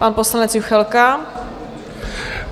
Pan poslanec Juchelka.